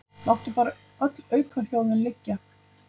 Láttu bara öll aukahljóðin liggja.